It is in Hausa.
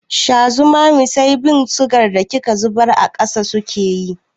Sha zumami sai bin sugan da kika zubar a ƙasa suke yi.